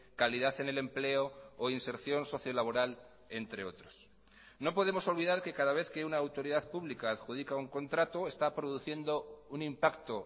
calidad en el empleo o inserción socio laboral entre otros no podemos olvidar que cada vez que una autoridad pública adjudica un contrato está produciendo un impacto